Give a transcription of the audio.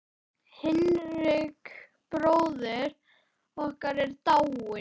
Hinrik bróðir okkar er dáinn.